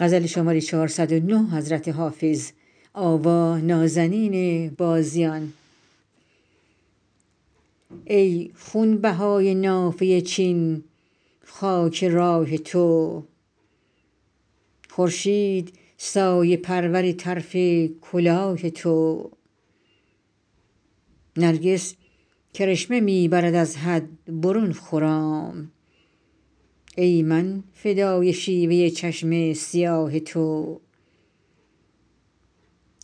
ای خونبهای نافه چین خاک راه تو خورشید سایه پرور طرف کلاه تو نرگس کرشمه می برد از حد برون خرام ای من فدای شیوه چشم سیاه تو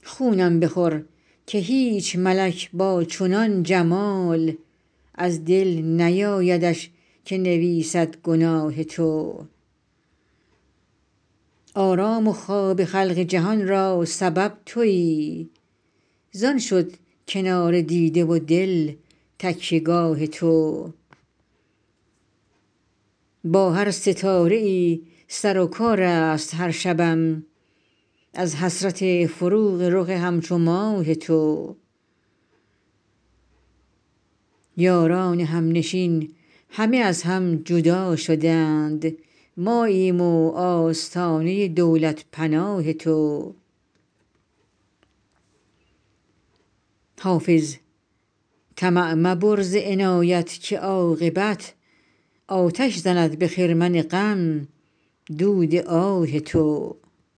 خونم بخور که هیچ ملک با چنان جمال از دل نیایدش که نویسد گناه تو آرام و خواب خلق جهان را سبب تویی زان شد کنار دیده و دل تکیه گاه تو با هر ستاره ای سر و کار است هر شبم از حسرت فروغ رخ همچو ماه تو یاران همنشین همه از هم جدا شدند ماییم و آستانه دولت پناه تو حافظ طمع مبر ز عنایت که عاقبت آتش زند به خرمن غم دود آه تو